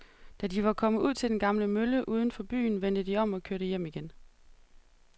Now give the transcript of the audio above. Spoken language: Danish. Da de var kommet ud til den gamle mølle uden for byen, vendte de om og kørte hjem igen.